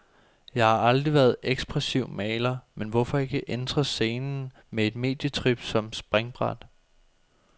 Jeg har aldrig været ekspressiv maler, men hvorfor ikke entre scenen med et medietrip som springbræt.